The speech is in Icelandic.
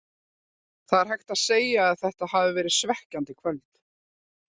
Það er hægt að segja að þetta hafi verið svekkjandi kvöld.